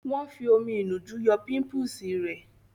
Wòn fi omi ìnu jú yọ pímúpisi rẹ